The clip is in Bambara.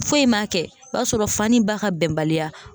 Foyi ma kɛ o b'a sɔrɔ fa ni ba ka bɛnbaliya.